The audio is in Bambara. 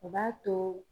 O b'a to